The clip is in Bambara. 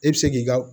E bɛ se k'i ka